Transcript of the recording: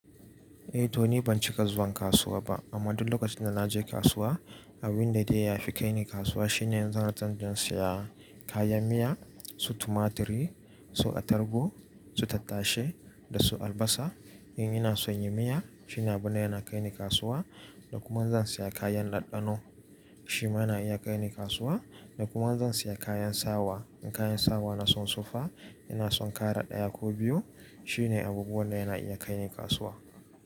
Eh, to nI ban cika zuwan kasuwa ba, amma duk lokacin da na je kasuwa abin da dai ya fi kai ni kasuwa, shine zuwa can don saya kayan miya, su tumaturi, su atargbu, su tattashe da su albasa. In ina son yin miya, shine abune yana kai ni kasuwa, da kuma zan siya kayan laddaɗɗano, shi ma na iya kai ni kasuwa, da kuma zan siya kayan sawa. In kayan sawa na sun sufa, ina son kara ɗaya ko biyu, shine abubuwan da yana iya kai ni kasuwa.